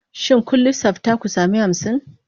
Shin kun lissafta ku sami hamsin?